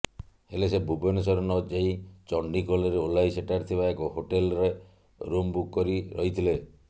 ହେଲେ ସେ ଭୁବନେଶ୍ବର ନଯାଇ ଚଣ୍ଡିଖୋଲରେ ଓହ୍ଲାଇ ସେଠାରେ ଥିବା ଏକ ହୋଟେଲ୍ରେ ରୁମ୍ ବୁକ୍ କରି ରହିଥିଲେ